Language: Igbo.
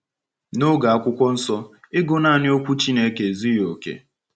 N’oge Akwụkwọ Nsọ, ịgụ naanị Okwu Chineke ezughị oke.